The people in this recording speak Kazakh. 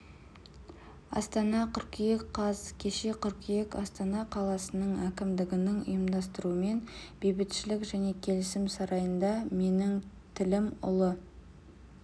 астана қыркүйек қаз кеше қыркүйек астана қаласының әкімдігінің ұйымдастыруымен бейбітшілік және келісім сарайында менің тілім ұлы